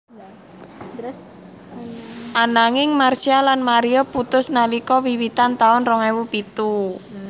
Ananging Marsha lan Mario putus nalika wiwitan taun rong ewu pitu